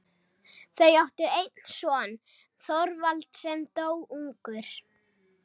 Þau áttu einn son, Þorvald, sem dó ungur.